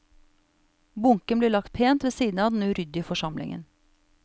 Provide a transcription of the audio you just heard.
Bunken blir lagt pent ved siden av den uryddige forsamlingen.